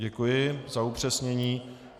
Děkuji za upřesnění.